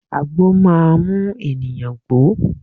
Àgbo máa mú ènìyàn gbó.